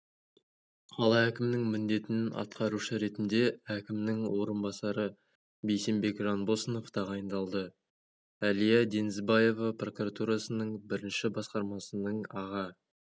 қала әкімінің міндетін атқарушы ретінде әкімнің орынбасары бейсенбек жанбосынов тағайындалды әлия денизбаева прокуратурасының бірінші басқармасының аға